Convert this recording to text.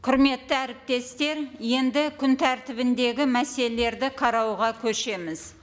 құрметті әріптестер енді күн тәртібіндегі мәселелерді қарауға көшеміз